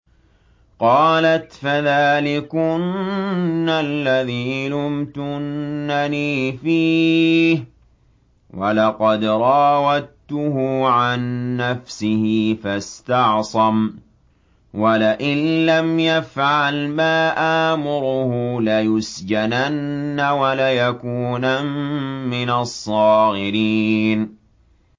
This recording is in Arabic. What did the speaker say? قَالَتْ فَذَٰلِكُنَّ الَّذِي لُمْتُنَّنِي فِيهِ ۖ وَلَقَدْ رَاوَدتُّهُ عَن نَّفْسِهِ فَاسْتَعْصَمَ ۖ وَلَئِن لَّمْ يَفْعَلْ مَا آمُرُهُ لَيُسْجَنَنَّ وَلَيَكُونًا مِّنَ الصَّاغِرِينَ